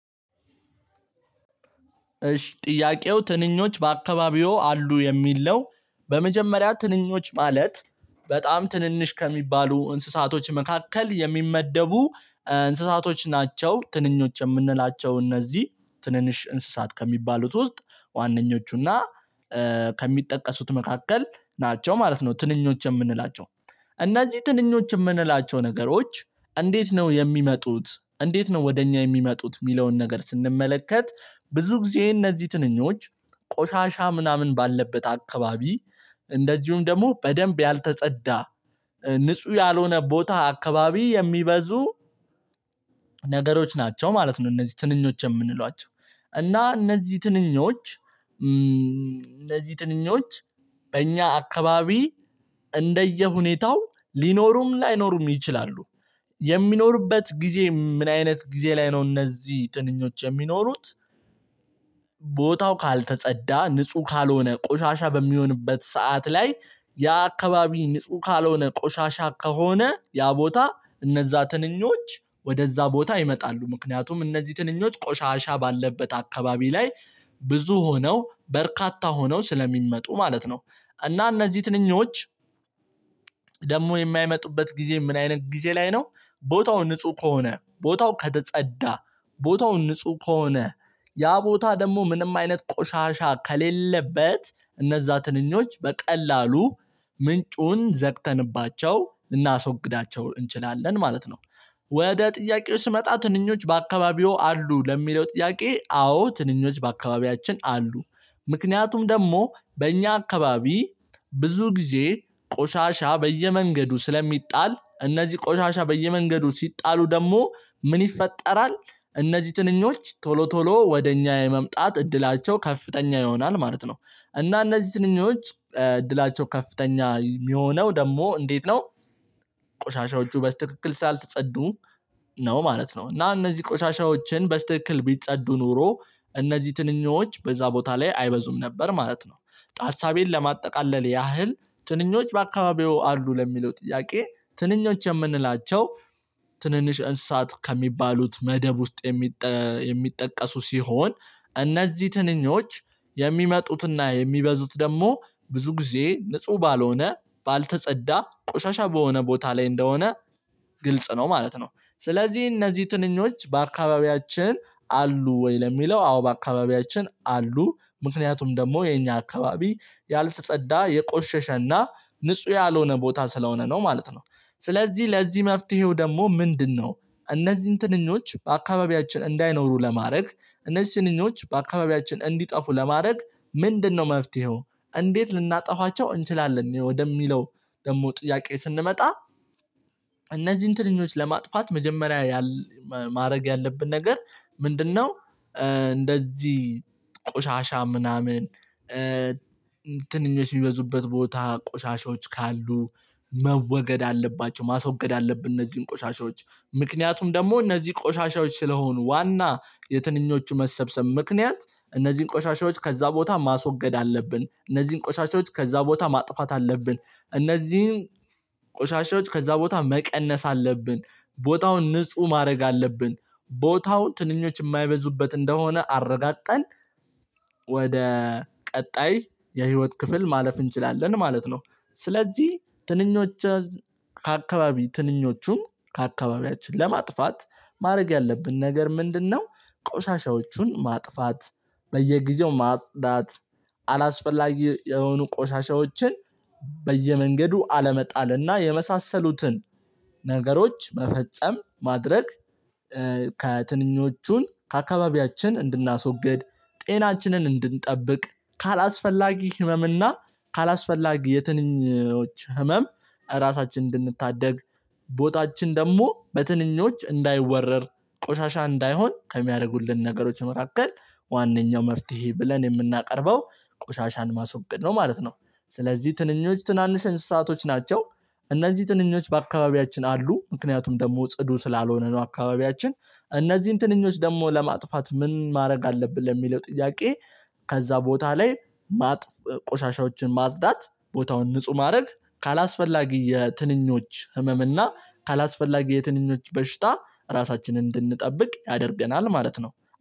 እሽ ጥያቄው ትንኞች በአካባቢው አሉ የሚል ነው። በመጀመሪያ ትንኞች ማለት በጣም ትንንሽ ከሚባሉ እንስሳቶች መካከል የሚመደቡ እንስሳቶች ናቸው። ትንኞች የምንላቸው እነዚህ ትንንሽ እንስሳት ከሚባሉት ውስጥ ዋነኞቹ እና ከሚጠቀሱት መካከል ናቸው ማለት ነው። ትንኞች የምንላቸው እነዚህ ትንኞች ምንላቸው ነገሮች እንዴት ነው የሚመጡት እንዴት ነው ወደ እኛ የሚመጡት ሚለውን ነገር ስንመለከት ብዙ ጊዜ እነዚህ ትንኞች ቆሻሻ ምናምን ባለበት አካባቢ እንደዚሁም ደሞ በደንብ ያልተጸዳ ንጹ ያልሆነ ቦታ አካባቢ የሚበዙ ነገሮች ናቸው። ማለት ነው እነዚህ ትንኞች የምንሏቸው እና እነዚ ትንኞች እነዚ ትንኞች በእኛ አካባቢ እንደየሁኔታው ሊኖሩም ላይኖሩም ይችላሉ። የሚኖሩበት ጊዜ ምን አይነት ጊዜ ላይ ነው? እነዚ ጥንኞች የሚኖሩት ቦታው ካልተጸዳ ንጹ ካልሆነ ቆሻሻ በሚሆንበት ሰዓት ላይ ያ አካባቢ ንጹ ካልሆነ ቆሻሻ ከሆነ ያ ቦታ እነዛ ትንኞች ወደዛ ቦታ ይመጣሉ ምክንያቱም እነዚ ትንኞች ቆሻሻ ባለበት አካባቢ ላይ ብዙ ሆነው በርካታ ሆነው ስለሚመጡ ማለት ነው። እና እነዚ ትንኞች ደሞ የማይመጡበት ጊዜ ምን አይነት ጊዜ ላይ ነው? ቦታው ንጹ ከሆነ ቦታው ከተጸዳ ቦታው ንጹ ከሆነ ያ ቦታ ደሞ ምንም አይነት ቆሻሻ ከሌለበት እነዛ ትንኞች በቀላሉ ምንጩን ዘግተንባቸው እናስወግዳቸው እንችላለን ማለት ነው። ወደ ጥያቄው ስመጣ ትንኞች በአካባቢው አሉ ለሚለው ጥያቄ አዎ ትንኞች በአካባቢያችን አሉ። ምክንያቱም ደሞ በእኛ አካባቢ ብዙ ጊዜ ቆሻሻ በየመንገዱ ስለሚጣል እነዚ ቆሻሻ በየመንገዱ ሲጣሉ ደሞ ምን ይፈጠራል? እነዚ ትንኞች ቶሎ ቶሎ ወደኛ የመምጣት እድላቸው ከፍተኛ ይሆናል ማለት ነው እና እነዚ ትንኞች እድላቸው ከፍተኛ ሚሆነው ደሞ እንዴት ነው ቆሻሻዎቹ በስትክክል ስላልተጸዱ ነው ማለት ነው። እና እነዚ ቆሻሻዎችን በስትክል ቢጸዱ ኖሮ እነዚህ ትንኞች በዛ ቦታ ላይ አይበዙም ነበር ማለት ነው። ሀሳቤን ለማጠቃለል ያህል ትንኞች በአካባቢው አሉ ለሚለው ጥያቄ ትንኞች የምንላቸው። ትንንሽ እንስሳት ከሚባሉት መደብ ውስጥ የሚጠቀሱ ሲሆን እነዚ ትንኞች የሚመጡትና የሚበዙት ደሞ ብዙ ጊዜ ንጹ ባልሆነ ባልተጸዳ ቆሻሻ በሆነ ቦታ ላይ እንደሆነ ግልጽ ነው ማለት ነው። ስለዚ እነዚ ትንኞች በአካባቢያችን አሉ ወይ ለሚለው አዎ በአካባቢያችን አሉ? ምክንያቱም ደሞ የኛ አካባቢ ያልተጸዳ የቆሸሸና ንጹ ያልሆነ ቦታ ስለሆነ ነው ማለት ነው። ስለዚ ለዚ መፍትሄው ደሞ ምንድነው? እነዚን ትንኞች በአካባቢያችን እንዳይኖሩ ለማረግ እነዚ ትንኞች በአካባቢያችን እንዲጠፉ ለማረግ ምንድነው መፍትሄው? እንዴት ልናጠፋቸው እንችላለን ወደሚለው ደሞ ጥያቄ ስንመጣ። እነዚን ትንኞች ለማጥፋት መጀመሪያ ማረግ ያለብን ነገር ምንድነው? እንደዚ ቆሻሻ ምናምን ትንኞች ሚበዙበት ቦታ ቆሻሻዎች ካሉ መወገድ አለባቸው ማስወገድ አለብን። እነዚን ቆሻሻዎች ምክንያቱም ደሞ እነዚ ቆሻሻዎች ስለሆኑ ዋና የትንኞቹ መሰብሰብ ምክንያት እነዚን ቆሻሻዎች ከዛ ቦታ ማስወገድ አለብን እነዚን ቆሻሻዎች ከዛ ቦታ ማጥፋት አለብን እነዚን ቆሻሾች ከዛ ቦታ መቀነስ አለብን። ቦታውን ንጹ ማረግ አለብን። ቦታው ትንኞች ማይበዙበት እንደሆነ አረጋግጠን ወደ ቀጣይ የህይወት ክፍል ማለፍ እንችላለን ማለት ነው። ስለዚ ትንኞች ከአካባቢ ትንኞቹም ከአካባቢያችን ለማጥፋት ማረግ ያለብን ነገር ምንድነው? ቆሻሻዎቹን ማጥፋት በየጊዜው ማጽዳት አላስፈላጊ የሆኑ ቆሻሻዎችን በየመንገዱ አለመጣልና የመሳሰሉትን ነገሮች መፈጸም ማድረግ። ከትንኞቹን ከአካባቢያችን እንድናሶግድ ጤናችንን እንድንጠብቅ ካላስፈላጊ ህመም እና ካላስፈላጊ የትንኞች ህመም ራሳችንን እንድንታደግ ቦታችን ደሞ በትንኞች እንዳይወረር ቆሻሻ እንዳይሆን ከሚያረጉልን ነገሮች መካከል ዋነኛው መፍትሄ ብለን የምናቀርበው ቆሻሻን ማስወገድ ነው ማለት ነው። ስለዚ ትንኞች ትናንሽ እንስሳቶች ናቸው። እነዚ ትንኞች በአካባቢያችን አሉ ምክንያቱም ደሞ ጽዱ ስላልሆነ ነው አካባቢያችን እነዚን ትንኞች ደሞ ለማጥፋት ምን ማድረግ አለብን ለሚለው ጥያቄ። ከዛ ቦታ ላይ ቆሻሻዎችን ማጽዳት ቦታውን ንጹ ማረግ ካላስፈላጊ የትንኞች ህመም እና ካላስፈላጊ የትንኞች በሽታ ራሳችንን እንድንጠብቅ ያደርገናል ማለት ነው